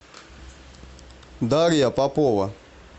дарья попова